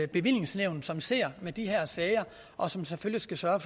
bevillingsnævn som ser på de her sager og som selvfølgelig skal sørge